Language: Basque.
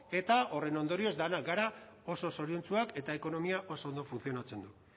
eta horren ondorioz denak gara oso zoriontsuak eta ekonomiak oso ondo funtzionatzen du